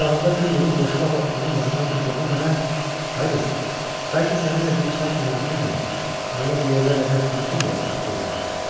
Qucağında bir yığın boşqabla onun yanından keçəndə mənə: “Ay qız, bəlkə səninlə bir çay kənarına enək ki, mənə bu yerlərlə biraz tanış eləyəsən” dedi.